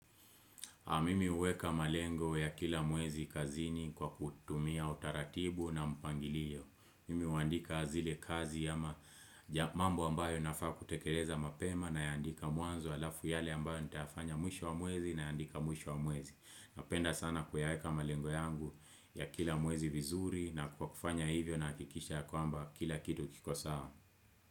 Mimi huweka malengo ya kila muezi kazini kwa kutumia utaratibu na mpangilio. Mimi huandika zile kazi ya mambo ambayo nafaa kutekeleza mapema nayaandika mwanzo alafu yale ambayo nitafanya mwisho wa mwezi na yaandika mwisho wa mwezi. Napenda sana kuyaweka malengo yangu ya kila mwezi vizuri na kukufanya hivyo na kikisha ya kwamba kila kitu kiko saa.